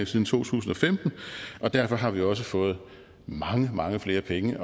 siden to tusind og femten og derfor har vi også fået mange mange flere penge